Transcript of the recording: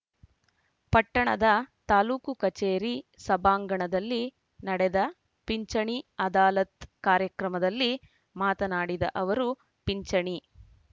ಪಟ್ಟಣದ ತಾಲೂಕು ಕಚೇರಿ ಸಭಾಂಗಣದಲ್ಲಿ ನಡೆದ ಪಿಂಚಣಿ ಅದಾಲತ್‌ ಕಾರ್ಯಕ್ರಮದಲ್ಲಿ ಮಾತನಾಡಿದ ಅವರು ಪಿಂಚಣಿ